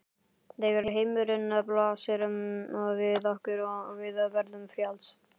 Þegar heimurinn blasir við okkur og við verðum frjáls.